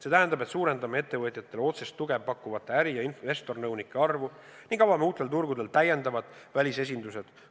See tähendab, et suurendame ettevõtjatele otsest tuge pakkuvate äri- ja investornõunike arvu ning avame uutel turgudel täiendavad välisesindused.